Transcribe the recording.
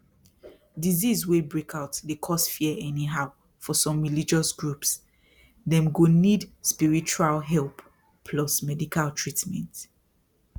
disease wey break out dey cause fear anyhow for some religious groups dem go need spiritual help plus medical treatment